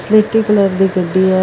ਸਲੇਟੀ ਕਲਰ ਦੀ ਗੱਡੀ ਆ।